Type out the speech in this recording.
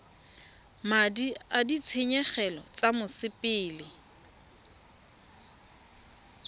madi a ditshenyegelo tsa mosepele